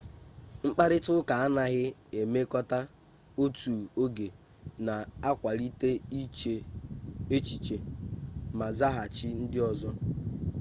mkparịtaụka anaghị emekọta otu oge na-akwalite iche echiche ma zaghachi ndị ọzọ